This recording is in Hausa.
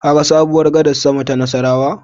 Kaga sabuwar gadar sama ta Nassarawa?